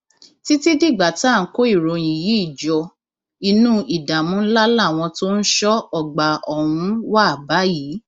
títí dìgbà tá à ń kó ìròyìn yìí jọ inú ìdààmú ńlá làwọn tó ń ṣọ ọgbà ọhún wà báyìí